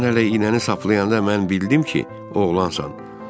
Sən hələ iynəni saplayanda mən bildim ki, oğlansan.